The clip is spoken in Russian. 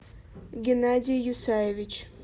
геннадий юсаевич